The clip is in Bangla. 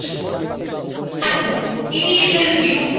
এখন initial view ট্যাবে click করুন